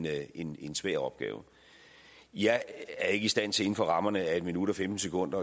er en en svær opgave jeg er ikke i stand til inden for rammerne af en minut og femten sekunder